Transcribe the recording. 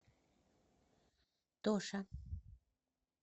тоша